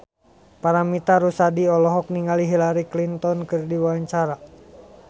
Paramitha Rusady olohok ningali Hillary Clinton keur diwawancara